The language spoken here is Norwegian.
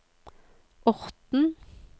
Orten